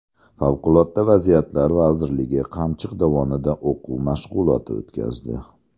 Favqulodda vaziyatlar vazirligi Qamchiq dovonida o‘quv mashg‘uloti o‘tkazdi .